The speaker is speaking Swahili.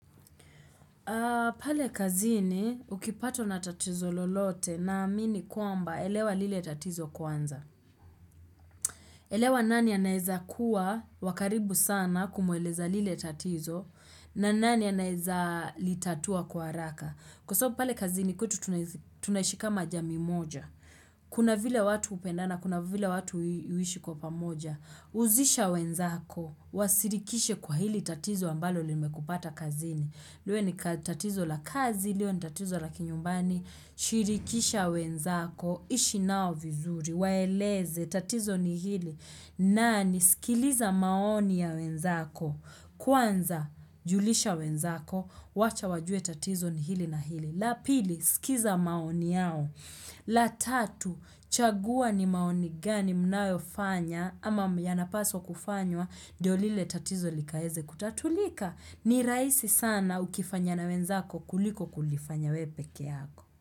Pale kazini, ukipatwa na tatizo lolote na amini kwamba elewa lile tatizo kwanza. Elewa nani anaeza kuwa wa karibu sana kumueleza lile tatizo na ni nani anaweza litatua kwa haraka. Kwa sababu pale kazini kwetu tunaishi kama jamii moja. Kuna vile watu hupendana kuna vile watu huishi kwa pamoja. Huzisha wenzako, wasirikishe kwa hili tatizo ambalo limekupata kazini. Liwe ni tatizo la kazi, liwe ni tatizo la kinyumbani, shirikisha wenzako, ishi nao vizuri, waeleze, tatizo ni hili, nani, sikiliza maoni ya wenzako, kwanza, julisha wenzako, wacha wajue tatizo ni hili na hili. La pili, sikiza maoni yao. La tatu, chagua ni maoni gani mnayofanya ama yanapaswa kufanywa ndio lile tatizo likaweze kutatulika. Ni rahisi sana ukifanya na wenzako kuliko kulifanya wewe pekee yako.